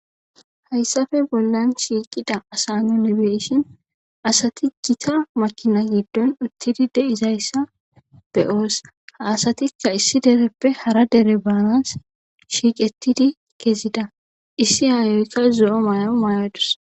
hayssafe bollan shiiqida asa nunibeshin asati gita makina giddon uttidi de izayssa beyoos ha asatikka issi dereppe hara dere baanas shiiqettidi kezida issi hayoykka zo7o mayawu mayadus